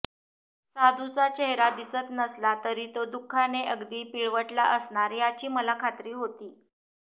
साधूचा चेहरा दिसत नसला तरी तो दुःखाने अगदी पिळवटला असणार याची मला खात्री होती